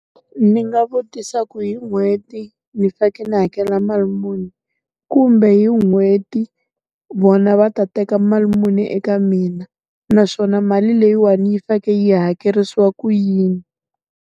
Ndzi nga vutisa ku hi n'hweti, ni fanekele ndzi hakela mali muni? Kumbe hi n'hweti, vona va ta teka mali muni eka mina? Naswona mali leyiwani yi fanekele yi hakerisiwa ku yini?